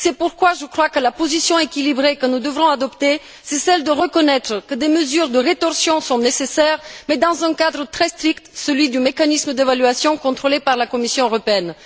C'est pourquoi je crois que la position équilibrée que nous devrons adopter doit consister à reconnaître que des mesures de rétorsion sont nécessaires, mais dans un cadre très strict, celui du mécanisme d'évaluation contrôlé par la Commission européenne.